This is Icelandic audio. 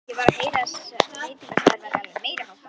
Ég var að heyra að þessi veitingastaður væri alveg meiriháttar!